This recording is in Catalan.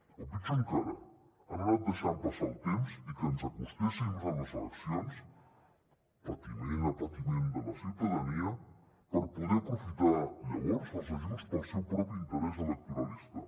o pitjor encara han anat deixant passar el temps i que ens acostéssim a les eleccions patiment a patiment de la ciutadania per poder aprofitar llavors els ajuts per al seu propi interès electoralista